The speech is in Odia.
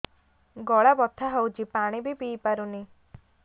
ଗଳା ବଥା ହଉଚି ପାଣି ବି ପିଇ ପାରୁନି